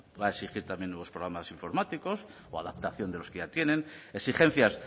a exigir también nuevos programas informáticos o a adaptación de los que ya tienen exigencias